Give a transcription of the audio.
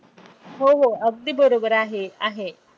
हो हो अगदी बरोबर आहे आहे.